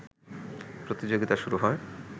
প্রতিযোগিতা শুরু হয়